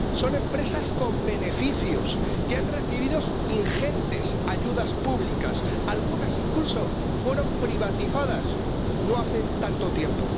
Son empresas con beneficios que han recibido ingentes ayudas públicas, algunas incluso fueron privatizadas no hace tanto tiempo.